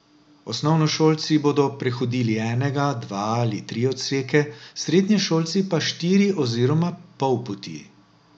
Osnovnošolci bodo prehodili enega, dva ali tri odseke, srednješolci pa štiri oziroma pol poti.